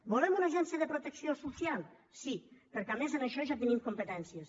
volem una agència de protecció social sí perquè a més en això ja tenim competències